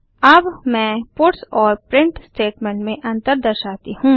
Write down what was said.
अब मैं पट्स और प्रिंट स्टेटमेंट में अंतर दर्शाती हूँ